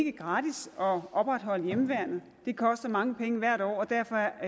er gratis at opretholde hjemmeværnet det koster mange penge hvert år og derfor